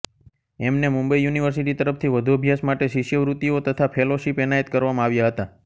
એમને મુંબઈ યુનિવર્સિટી તરફથી વધુ અભ્યાસ માટે શિષ્યવૃત્તિઓ તથા ફેલોશીપ એનાયત કરવામાં આવ્યા હતા